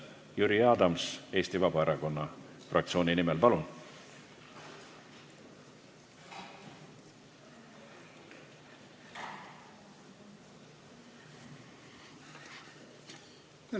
Jüri Adams Eesti Vabaerakonna fraktsiooni nimel, palun!